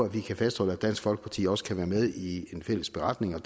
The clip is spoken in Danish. kan fastholde at dansk folkeparti også kan være med i en fælles beretning og